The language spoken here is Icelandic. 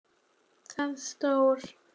Þar stóð